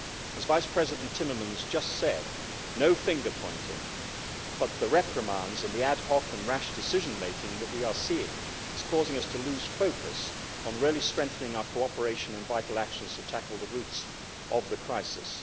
As First Vice President Timmermans just said, no finger pointing, but the reprimands and the ad hoc and rash decision making that we are seeing are causing us to lose focus on strengthening our cooperation and vital actions to tackle the roots of the crisis.